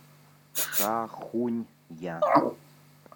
шахунья